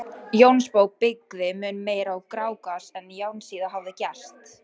Jónsbók byggði mun meira á Grágás en Járnsíða hafði gert.